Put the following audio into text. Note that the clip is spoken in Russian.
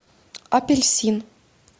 апельсин